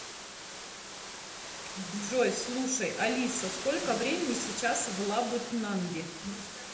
джой слушай алиса сколько времени сейчас в лабытнанги